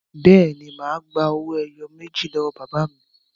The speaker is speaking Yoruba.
Bẹ́ẹ̀ ni, mà á be owó ẹyọ méjì lọ́wọ́ bàbá mi.